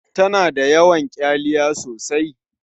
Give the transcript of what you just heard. Ta na da yawan ƙyaliya sosai.